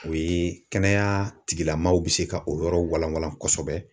O ye kɛnɛya tigilamɔgɔw bɛ se ka o yɔrɔ walawala kosɛbɛ